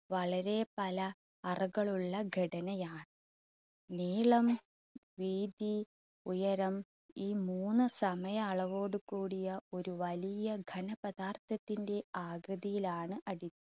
വളരെ പല അറകളുള്ള ഘടനയാ നീളം, വീതി, ഉയരം ഈ മൂന്ന് സമയ അളവോട് കൂടിയ ഒരു വലിയ ഘന പദാർത്ഥത്തിന്റെ ആകൃതിയിലാണ് അടി~